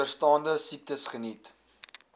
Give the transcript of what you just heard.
onderstaande siektes geniet